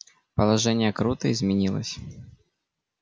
положение круто изменилось